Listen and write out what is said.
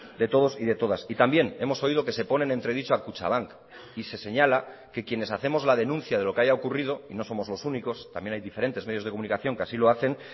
de todos y de todas y también hemos oído que se pone en entredicho a kutxabank y se señala que quienes hacemos la denuncia de lo que haya ocurrido y no somos los únicos también hay diferentes medios de comunicación que así lo hacen